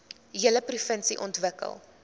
hele provinsie ontwikkel